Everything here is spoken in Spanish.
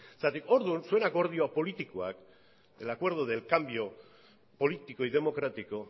orduan zuen akordio politikoak el acuerdo del cambio político y democrático